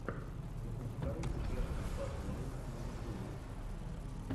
запускай версус баттл ру на ютьюбе